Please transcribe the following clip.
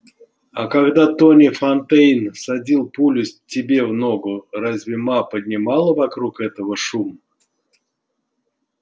а когда тони фонтейн всадил пулю тебе в ногу разве ма поднимала вокруг этого шум